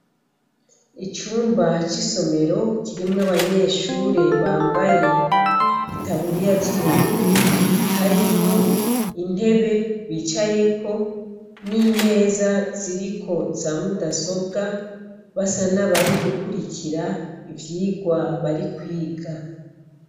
Ikigo ci shuri kirimwo abanyeshuri bambaye impuzu zu bururu harimwo intebe bicayeko n'imeza tiriko za mudasobwa basa nabari gukurikira ivyirwa bari kwiga.